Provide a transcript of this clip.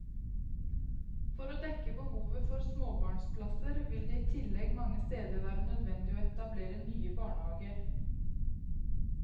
For å dekke behovet for småbarnplasser vil det i tillegg mange steder være nødvendig å etablere nye barnehager.